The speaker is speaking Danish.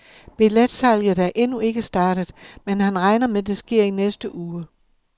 Billetsalget er endnu ikke startet, men han regner med det sker i næste uge.